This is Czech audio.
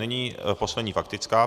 Nyní poslední faktická.